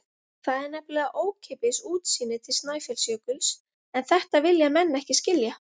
Það er nefnilega ókeypis útsýnið til Snæfellsjökuls en þetta vilja menn ekki skilja.